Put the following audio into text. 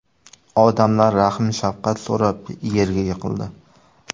Odamlar rahm-shafqat so‘rab yerga yiqildi.